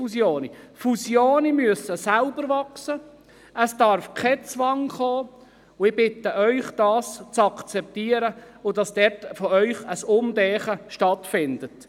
Fusionen müssen von selber wachsen, sie dürfen nicht unter Zwang vorgenommen werden, und ich bitte Sie, dies zu akzeptieren und hier umzudenken.